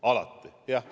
Alati!